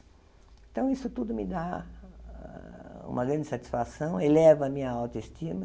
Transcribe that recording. Então, isso tudo me dá uma grande satisfação, eleva a minha autoestima,